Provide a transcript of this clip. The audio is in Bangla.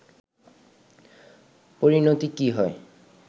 পরিনতি কী হয়